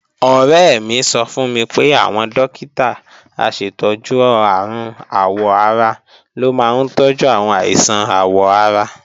Ọ̀rẹ́ mi sọ fún mi pé àwọn dókítà aṣètọ́jú àrùn àwọ̀-ara ló máa ń tọ́jú àwọn àìsàn àwọ̀ ara